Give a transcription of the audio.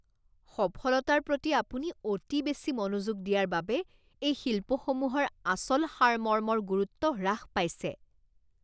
সফলতাৰ প্ৰতি আপুনি অতি বেছি মনোযোগ দিয়াৰ বাবে এই শিল্প সমূহৰ আচল সাৰমৰ্মৰ গুৰুত্ব হ্ৰাস পাইছে।